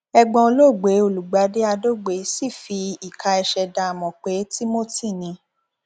ẹgbọn olóògbé olùgbàdé àdọgbẹ sì fi ìka ẹṣẹ dá a mọ pé timothy ni